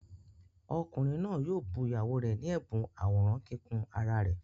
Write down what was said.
Ọkùnrin náà yóò bu ìyàwó rẹ̀ ní ẹ̀bùn àwòrán kíkùn ara rẹ̀.